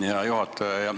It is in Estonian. Hea juhataja!